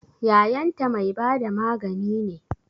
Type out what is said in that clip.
Yayanta mai bada magani ne?